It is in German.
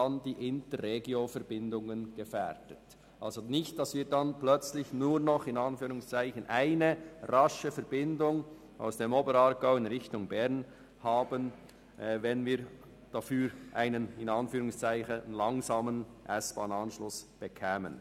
Es sollte vermieden werden, dass nur noch eine «rasche Verbindung» aus dem Oberaargau in Richtung Bern übrigbleibt, wenn wir dafür einen «langsamen» S-Bahn-Anschluss erhielten.